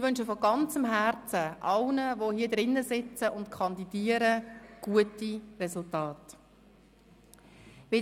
Ich wünsche allen, die hier sitzen und kandidieren, von ganzem Herzen gute Resultate.